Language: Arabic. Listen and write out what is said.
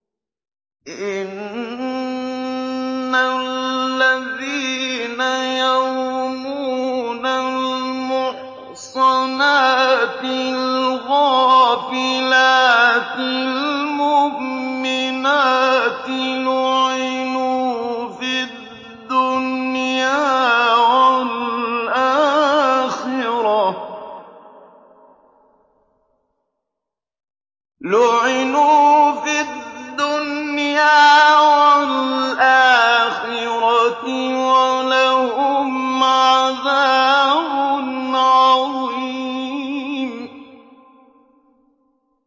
إِنَّ الَّذِينَ يَرْمُونَ الْمُحْصَنَاتِ الْغَافِلَاتِ الْمُؤْمِنَاتِ لُعِنُوا فِي الدُّنْيَا وَالْآخِرَةِ وَلَهُمْ عَذَابٌ عَظِيمٌ